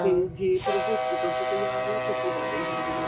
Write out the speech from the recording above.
ਤੇ ਜੇ ਸਿਰਫ hospital ਚੋਂ ਕੋਈ ਆ ਰਿਹਾ ਫਿਰ ਤੇ ਜਿਆਦਾ ਹੀ ਡਰ ਜਾਂਦਾ